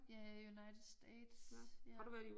Ja United States ja